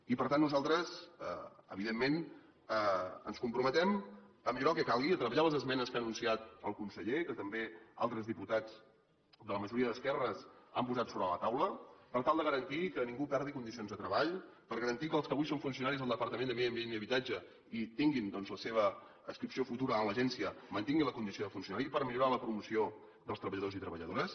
i per tant nosaltres evidentment ens comprometem a millorar el que calgui a treballar les esmenes que ha anunciat el conseller i que també altres diputats de la majoria d’esquerres han posat sobre la taula per tal de garantir que ningú perdi condicions de treball per garantir que els que avui són funcionaris del departament de medi ambient i habitatge i tinguin doncs la seva adscripció futura en l’agència mantinguin la condició de funcionari i per millorar la promoció dels treballadors i treballadores